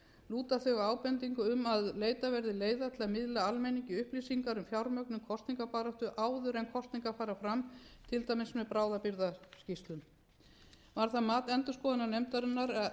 lúta þau að ábendingu um að leitað verði leiða til að miðla almenningi upplýsingar um fjármögnun kosningabaráttu áður en kosningar fara fram til dæmis með bráðabirgðaskýrslum var það mat endurskoðunarnefndarinnar að erfitt gæti reynst að